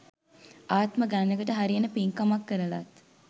ආත්ම ගණනකට හරියන පින්කමක් කරලත්